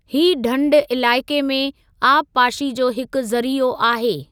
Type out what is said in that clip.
हीअ ढंढ इलाइक़े में आबपाशी जो हिकु ज़रीओ आहे।